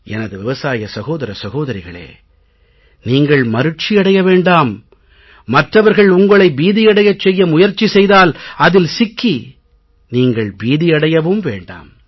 எனது விவசாய சகோதர சகோதரிகளே நீங்கள் மருட்சி அடைய வேண்டாம் மற்றவர்கள் உங்களை பீதியடையச் செய்ய முயற்சி செய்தால் அதில் சிக்கி நீங்கள் பீதியடையவும் வேண்டாம்